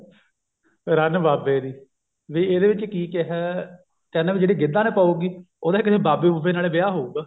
ਰੰਨ ਬਾਬੇ ਦੀ ਵੀ ਇਹਦੇ ਵਿੱਚ ਕੀ ਕਿਹਾ ਕਹਿੰਦਾ ਵੀ ਜਿਹੜੀ ਗਿੱਧਾ ਨਾ ਪਾਉਗੀ ਉਹਦਾ ਕਿਸੇ ਬਾਬੇ ਬੁਬੇ ਨਾਲ ਹੀ ਵਿਆਹ ਹੋਊਗਾ